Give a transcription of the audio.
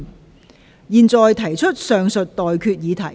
我現在向各位提出上述待決議題。